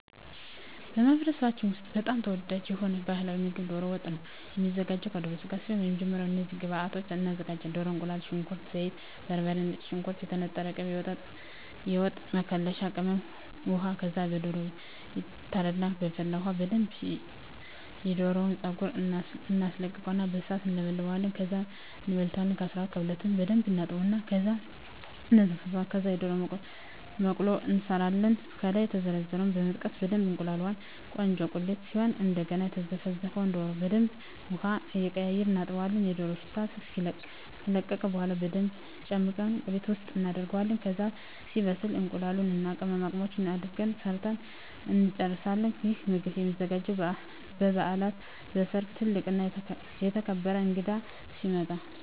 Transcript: በማኅበረሰባችን ውስጥ በጣም ተወዳጅ የሆነው ባሕላዊ ምግብ ደሮ ወጥ ነው የሚዘጋው ከደሮ ስጋ ሲሆን በመጀመሪያ እነዚህን ግብአቶች እናዘጋጃለን። ደሮ፣ እቁላል፣ ሽንኩርት፣ ዘይት፣ በርበሬ፣ ነጭ ሽንኩርት፣ የተነጠረ ቅቤ፣ የወጥ መከለሻ ቅመም፣ ውሃ ከዛ ደሮው ይታረድና በፈላ ውሀ በደንብ የደሮውን ፀጉር እናስለቅቀውና በሣት እንለበልበዋለን። ከዛ እንበልተዋለን ከ12 እበልትና በደንብ እናጥብና እና እነዘፈዝፈዋለን። ከዛ የደሮ መቅሎ እንሠራለን። ከላይ የዘረዘርነውን በመጠቀም በደብ እናቁላላዋለን ቆንጆ ቁሌት ሲሆን እደገና የዘፈዘፍነውን ደሮ በደንብ ውሀውን እየቀያየርን እናጥበዋለን የደሮው ሽታ እስኪለቅ። ከለቀቀ በኋላ በደንብ ጨምቀን ቁሌት ውስጥ እናደርገዋለን። ከዛ ሲበስል እቁላሉን እና ቅመማቅመሙን አድርገን ሠርተን እንጨርሣለን። ይህ ምግብ የሚዘጋጀው በበዓላት፣ በሠርግ፣ ትልቅ እና የተከበረ እንግዳ ሲመጣ።